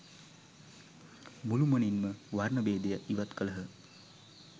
මුළුමනින්ම වර්ණ භේදය ඉවත් කළහ.